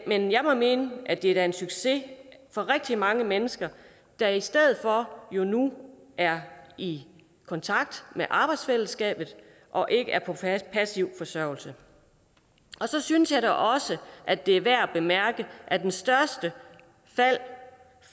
men jeg vil mene at det da er en succes for rigtig mange mennesker der i stedet for nu er i kontakt med arbejdsfællesskabet og ikke er på passiv forsørgelse og så synes jeg da også at det er værd at bemærke at det største fald